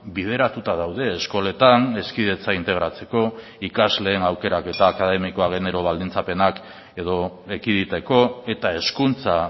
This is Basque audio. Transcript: bideratuta daude eskoletan hezkidetza integratzeko ikasleen aukerak eta akademikoa genero baldintzapenak edo ekiditeko eta hezkuntza